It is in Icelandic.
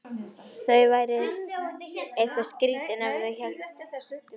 Þau væru eitthvað skrýtin ef þau héldu með annarri þjóð en sinni eigin.